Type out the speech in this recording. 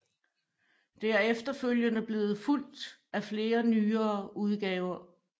Det er efterfølgende blevet fulgt af flere nyere udgaver